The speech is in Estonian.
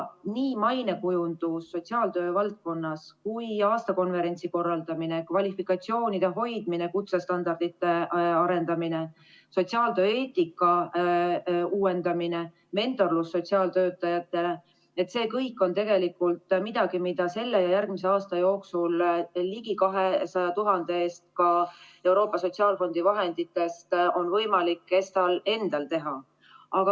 Nii mainekujundus sotsiaaltöö valdkonnas kui ka aastakonverentsi korraldamine, kvalifikatsioonide hoidmine, kutsestandardite arendamine, sotsiaaltöö eetika uuendamine, mentorlus sotsiaaltöötajatele – see kõik on tegelikult midagi, mida on võimalik selle ja järgmise aasta jooksul ligi 200 000 euro eest Euroopa Sotsiaalfondi vahenditest ESTA-l endal teha.